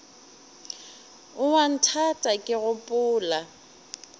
o a nthata ke gopola